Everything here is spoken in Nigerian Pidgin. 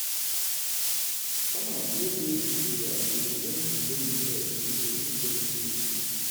farmers wey dey dis area dey depend on loamy soil to produce steady food.